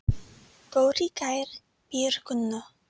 Dóri Geir bíður Gunnu.